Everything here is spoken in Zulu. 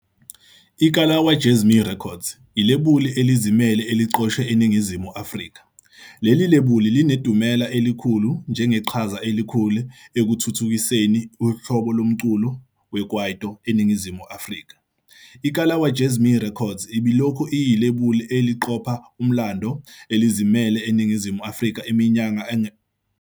IKalawa Jazmee Records ilebula elizimele eliqoshwe eNingizimu Afrika. Leli lebuli linedumela elikhulu njengeqhaza elikhulu ekuthuthukiseni uhlobo lomculo weKwaito eNingizimu Afrika. IKalawa Jazmee Records ibilokhu iyilebuli eliqopha umlando elizimele eNingizimu Afrika iminyaka engaphezu kwengama-25 ikhona.